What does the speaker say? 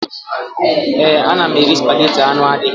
Ee, ana m eri spageti anụ adịghị